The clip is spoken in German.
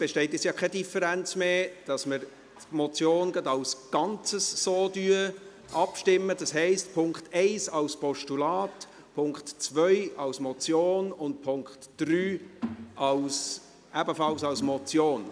Ist irgendjemand dagegen, dass wir über die Motion als Ganzes abstimmen, das heisst über Punkt 1 als Postulat, Punkt 2 als Motion und Punkt 3 ebenfalls als Motion?